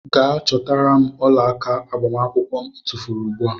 Gee chọtara mụ ọlaaka agbamakwụkwọ mụ i tufuru ugbua!!.